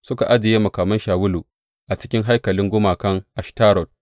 Suka ajiye makaman Shawulu a cikin haikalin gumakan Ashtarot.